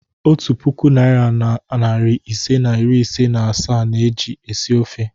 Otu puku naịra na narị ise na iri ise na asaa na-eji esi ofe.